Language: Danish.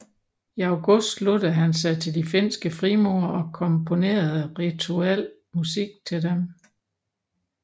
I august sluttede han sig til de finske frimurere og komponerede rituel musik til dem